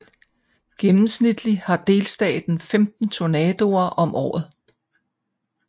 Gennemsnitligt har delstaten 15 tornadoer om året